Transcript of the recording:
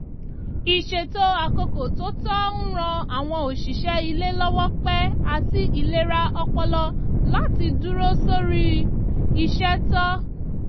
ìṣètò àkókò tó tọ ń ran àwọn òṣìṣẹ́ ilé lọ́wọ́ pé àti ìlera ọpọlọláti dúró sórí iṣẹ́ tó